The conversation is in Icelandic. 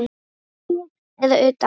Innan hóps eða utan.